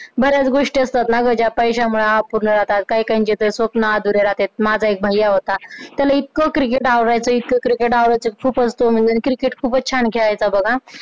बऱ्याच गोष्टी असतात ना ज्या पैश्यामुळे जातात काही काहींचे तर स्वप्न अधुरे राहते माझा एक भैय्या होता त्याला इतकं cricket आवडायचं, इतकं cricket आवडायचं खूपच तो म्हणजे cricket खूपच छान खेळायचा बघ आ